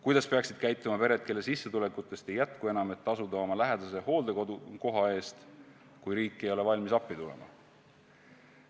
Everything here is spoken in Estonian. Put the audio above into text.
Kuidas peaksid käituma pered, kelle sissetulekutest ei jätku enam, et tasuda oma lähedase hooldekodukoha eest, kui riik ei ole valmis appi tulema?